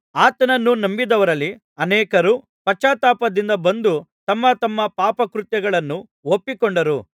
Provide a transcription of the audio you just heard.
ಆತನನ್ನು ನಂಬಿದವರಲ್ಲಿ ಅನೇಕರು ಪಶ್ಚಾತ್ತಾಪದಿಂದ ಬಂದು ತಮ್ಮ ತಮ್ಮ ಪಾಪಕೃತ್ಯಗಳನ್ನು ಒಪ್ಪಿಕೊಂಡರು